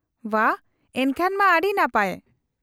-ᱵᱷᱟ, ᱮᱱᱠᱷᱟᱱ ᱢᱟ ᱟᱹᱰᱤ ᱱᱟᱯᱟᱭ ᱾